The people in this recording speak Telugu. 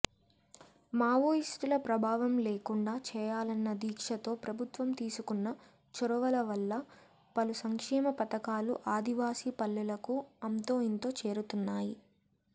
మావోయిస్టుల ప్రభావం లేకుండా చేయాలన్న దీక్షతో ప్రభుత్వం తీసుకున్న చొరవలవల్ల పలుసంక్షేమ పథకాలు ఆదివాసీ పల్లెలకు అంతోఇంతో చేరుతున్నాయి